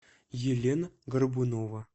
елена горбунова